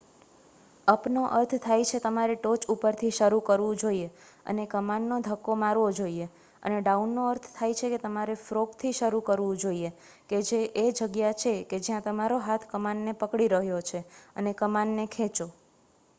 અપનો અર્થ થાય છે તમારે ટોચ ઉપરથી શરુ કરવું જોઈએ અને કમાનને ધક્કો મારવો જોઈએ અને ડાઉનનો અર્થ છે કે તમારે ફ્રોગ થી શરુ કરવું જોઈએ કે જે એ જગ્યા છે કે જ્યાં તમારો હાથ કમાનને પકડી રહ્યો છે અને કમાનને ખેંચો